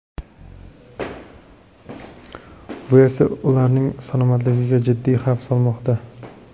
Bu esa ularning salomatligiga jiddiy xavf solmoqda.